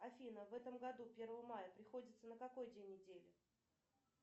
афина в этом году первое мая приходится на какой день недели